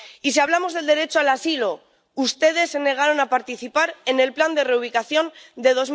Y si hablamos del derecho al asilo, ustedes se negaron a participar en el plan de reubicación de